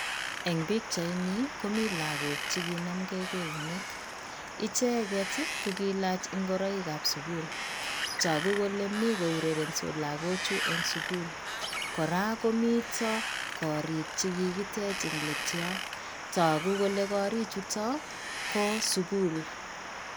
Eng pikchaini komii lagook che kinamgei keunek. Icheget ko kiilach ngoroiikab sukul. Taku kole ni kourerensot lagoochu en sukul. Kora komiito korik che kikitech eng latyo tagu kole kari chuto ko sukul.